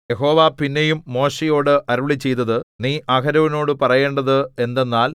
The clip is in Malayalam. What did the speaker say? യഹോവ പിന്നെയും മോശെയോട് അരുളിച്ചെയ്തത് നീ അഹരോനോടു പറയേണ്ടത് എന്തെന്നാൽ